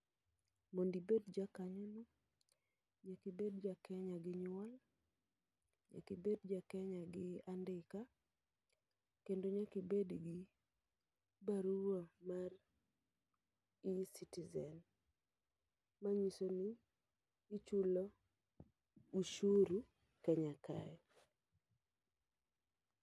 Mondibed ja kanyo no, nyakibed ja Kenya gi nyuol, nyakibed ja Kenya gi andika, kendo nyakibed gi barua mar e-Citizen. Ma nyiso ni ichulo ushuru Kenya kae.